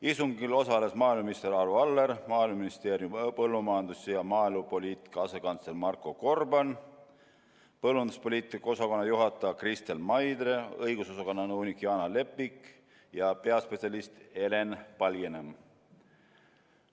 Istungil osalesid maaeluminister Arvo Aller, Maaeluministeeriumi põllumajandus- ja maaelupoliitika asekantsler Marko Gorban, põllumajanduspoliitika osakonna juhataja Kristel Maidre, õigusosakonna nõunik Jaana Lepik ja peaspetsialist Helen Palginõmm.